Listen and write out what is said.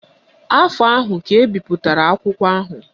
Afọ ahụ ka ebipụtara akwụkwọ ahụ